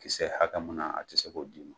Kisɛ hakɛ munna a tɛ se k'o d'i ma.